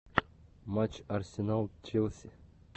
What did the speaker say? матч арсенал челси